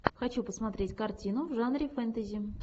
хочу посмотреть картину в жанре фэнтези